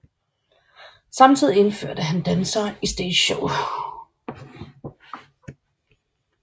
Samtidig indførte han dansere i stageshow